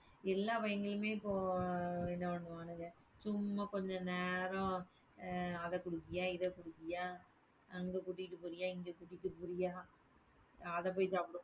எல்லா பையங்களுமே இப்போ என்ன பண்ணுவானுங்க சும்மா கொஞ்ச நேரம் ஆஹ் அதை குடுப்பியா? இதை குடுப்பியா? அங்க கூட்டிட்டு போறியா? இங்க கூட்டிட்டு போறியா? அதை போய் சாப்பிடு~